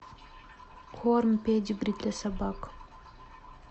корм педигри для собак